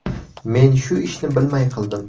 Men shu ishni bilmay qildim.